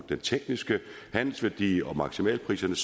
den tekniske handelsværdi og maksimalpriserne